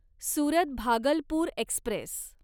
Surat Bhagalpur Express